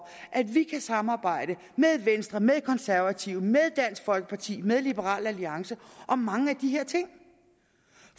at vi kan samarbejde med venstre med konservative med dansk folkeparti med liberal alliance om mange af de her ting